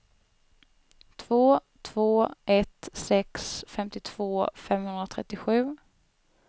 två två ett sex femtiotvå femhundratrettiosju